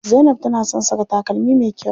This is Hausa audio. Zainab tana son saka takalmi me kyau.